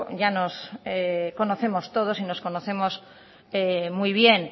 ya nos conocemos todos y nos conocemos muy bien